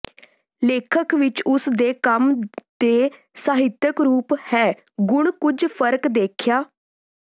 ਲੇਖਕ ਵਿਚ ਉਸ ਦੇ ਕੰਮ ਦੇ ਸਾਹਿਤਕ ਰੂਪ ਹੈ ਗੁਣ ਕੁਝ ਫਰਕ ਦੇਖਿਆ